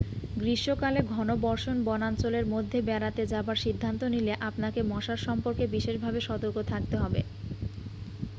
গ্রীষ্মকালে ঘনবর্ষণ বনাঞ্চলের মধ্যে বেড়াতে যাবার সিদ্ধান্ত নিলে আপনাকে মশার সম্পর্কে বিশেষভাবে সতর্ক থাকতে হবে